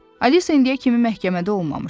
Alisa indiyə kimi məhkəmədə olmamışdı.